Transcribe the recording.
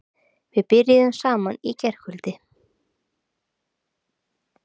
Við byrjuðum saman í gærkvöld.